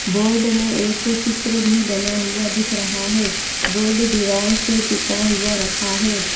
Board में एक चित्र भी बना हुआ दिख रहा है बोर्ड दीवार से टिका हुआ रखा है।